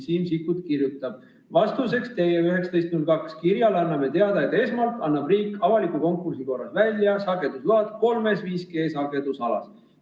Siim Sikkut kirjutab: vastuseks teie 19.02 kirjale anname teada, et esmalt annab riik avaliku konkursi korras välja sagedusload kolmes 5G-sagedusalas.